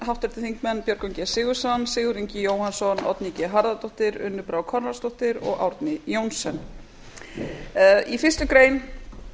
háttvirtir þingmenn björgvin g sigurðsson sigurður ingi jóhannsson oddný g harðardóttir unnur brá konráðsdóttir og árni johnsen í fyrstu grein